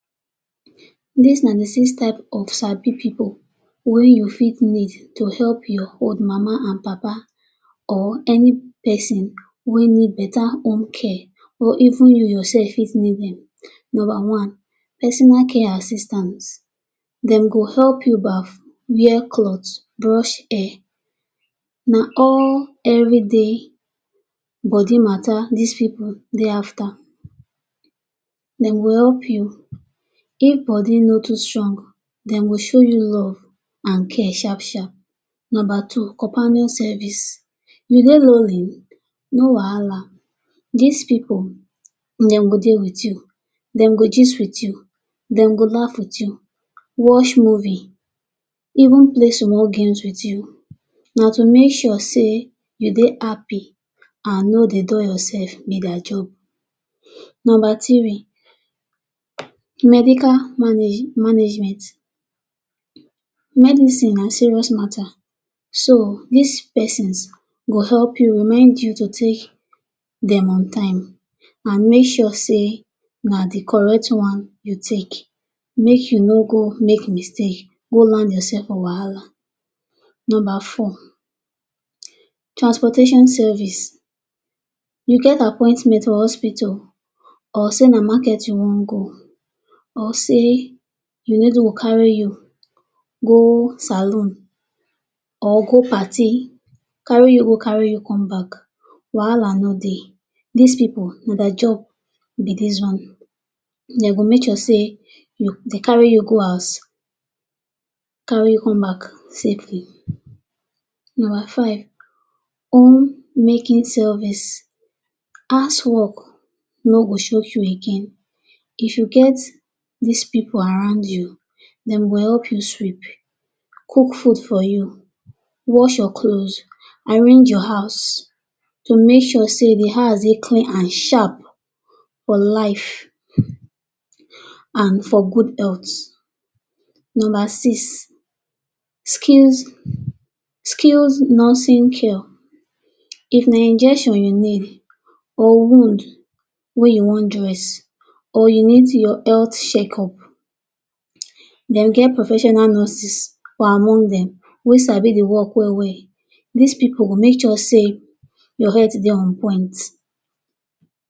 Dis na dey six type of sabi pipul wey you fit meet to help your old mama and papa or any pesin wey need better home care or even you yourself fit need dem. Number one, personal care assistant- dem go help you baff, wear cloth, brush hair na all everyday body matter dis pipul dey after. Dem go help you if body no too strong dem go show you love and care sharp sharp. Number two companion service- you dey lonely no wahala dis pipul dem go dey with you dem go gist with you, dem go laff with you, watch movie even play small even play small games with you na to make sure sey you dey happy and no dey dull be dia job. Number three medical management- medicine na serious matter so dis pesins go help you remind you to take dem on time and make sure sey na dey correct one you take make you no go make mistake go land yourself for wahala. Number four transportation service- you get appointment for hospital or sey na market you wan go or sey you need you go carry you go salon or go party carry you go carry you come back wahala no dey dis pipul na dia job be dis one dey go make sure sey dey carry you go house carry you come back safely. Number five home making service- house work no go shock you again if you get dis pipul around you dem go help you sweep, cook food for you, wash your clothes, arrange your house to make sure dey house dey clean and sharp for life and for good health. Number six skills skilled nursing cure- if na injection you need or wound wey you wan dress or you need your health check up then get professional nurses or among dem wey sabi dey work well well dis pipul go make sure sey your health dey on point